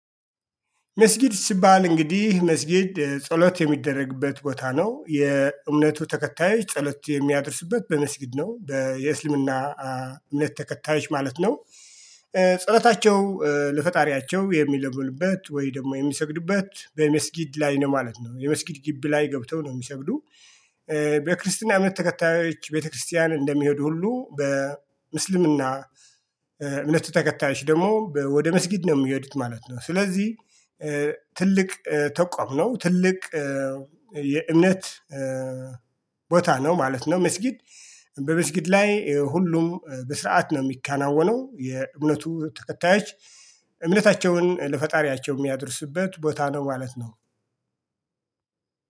መስጊድ ሲባል እንግዲህ መስጊድ ጸሎት የሚደረግበት ቦታ ነው የእምነቱ ተከታዮች ጸሎት የሚያደርሱበት በመስጊድ ነው የእስልምና እምነት ተከታዮች ማለት ነው። ጸሎታቸው ለፈጣሪያቸው የሚለምኑበት ወይ ደግሞ የሚሰግዱበት በመስጊድ ላይ ነው ማለት ነው የመስጊድ ግቢ ላይ ገብተው ነው የሚሰግዱ በክርስትና እምነት ተከታዮች ቤተክርስቲያን እንደሚሄዱ ሁሉ በእስልምና እምነት ተከታዮች ደግሞ ወደ መስጊድ ነው የሚሄዱት ማለት ነው ስለዚህ ትልቅ ተቋም ነው ትልቅ የእምነት ቦታ ነው ማለት ነው መስጊድ በመስጊድ ላይ ሁሉም በስርዓት ነው የሚከናወነው የእምነቱ ተከታዮች እምነታቸውን ለፈጣሪያቸው የሚያደርሱበት ቦታ ነው ማለት ነው።